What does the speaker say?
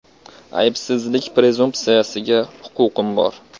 “Aybsizlik prezumpsiyasiga huquqim bor.